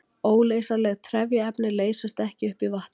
Óleysanleg trefjaefni leysast ekki upp í vatni.